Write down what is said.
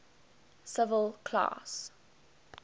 civil class